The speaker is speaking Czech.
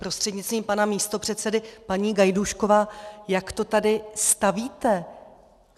Prostřednictvím pana místopředsedy paní Gajdůšková, jak to tady stavíte?